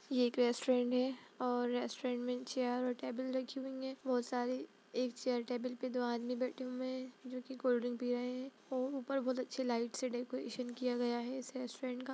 ये एक रेस्टोरेंट है और रेस्टोरेंट में चेयर और टेबल रखी हुई हैं बहुत सारी एक चेयर टेबल पे दो आदमी बैठे हुए हैं जो की कोल्ड ड्रिंक पी रहें हैं उ ऊपर बहुत अच्छी लाइट से डेकोरेशन किया गया है इस रेस्टोरेंट का --